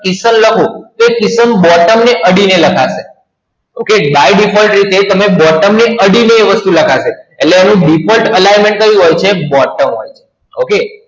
શ્રીફળ લખું તો એ શ્રીફળ Bottom ને અડીને લખાશે. Okay By Default એ છે તમને Bottom ને અડીને એ વસ્તુ લખાશે. એટલે એનું Default Alignment ક્યુ હોય છે? Bottom હોય છે. OK